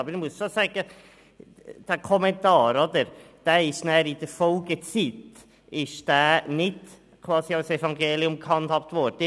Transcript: Aber ich muss auch sagen, dass dieser Kommentar in der Folgezeit nichtgleich einem Evangelium gehandhabt wurde.